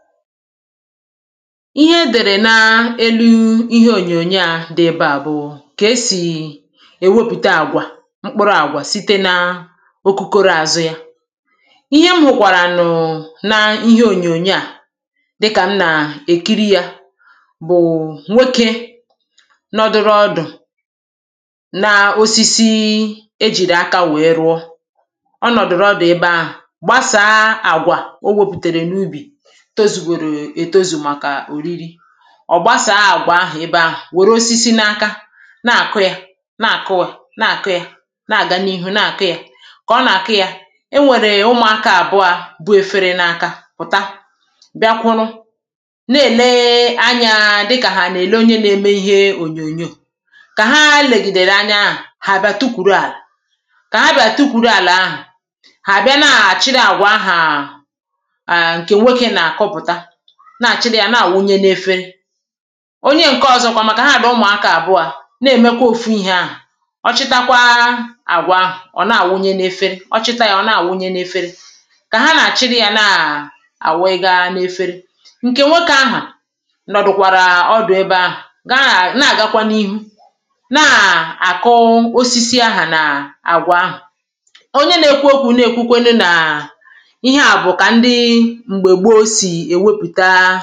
ihe dère n’elu ihe ònyònyo à dị̀ ebe à bụ̀ụ kà esì èwepụ̀ta àgwà mkpụrụ̇ àgwà site n’okokoro àzụ ya ihe mhụ̇ kwàrànụ̀ n’ihe ònyònyo à dịkà m nà èkiri yȧ bụ̀ nwokė nọdụrụ ọdụ̀ na osisi ejìrì aka wèe rụọ ọ nọ̀dụ̀rụ ọdụ̀ ebe à gbasàa àgwà o wepụ̀tèrè n’ubì ọ̀ gbasàa àgwà ahụ̀ ebe ahụ̀ wère osisi n’aka na-àkụ ya na-àkụ ya na-àkụ ya na-àga n’ihu na-àkụ ya kà ọ nà-àkụ ya e nwèrè ụmụ̀akȧ àbụȧ bu efere n’aka pụ̀ta bịakwụrụ na-èlee anyȧ dịkàhà nà-èle onye na-eme ihe ònyònyo kà ha legìdèrè anya àhụ kà ha bịàrà tukwùrù àlà ahụ̀ ha bịa na-àchịrị àgwà ahụ̀ aà na-àchịrị ya na-àwụnye n’efere onye ǹke ọ̀zọkwa màkà ha dị̀ ụmụ̀akȧ àbụȧ na-èmekwa ofu ihė ahụ̀ ọ chịtakwaa àgwà ahụ̀, ọ̀ na-àwụnye n’efere ọ̀ chịta ya ọ̀ na-àwụnye n’efere kà ha nà-àchịrị ya na-àwụga n’efere ǹkè nwe kà ahà nọ̀dụ̀kwàrà ọdụ̀ ebe ahà gaa na-àgakwa n’ihu na-àkụosisi ahà nà àgwà ahà onye na-ekwu okwu̇ na-èkwukwenu nà ụtȧ